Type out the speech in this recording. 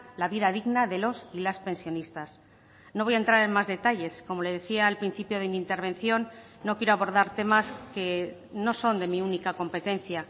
la vida digna de los y las pensionistas no voy a entrar en más detalles como le decía al principio de mi intervención no quiero abordar temas que no son de mi única competencia